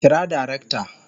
Kira darakta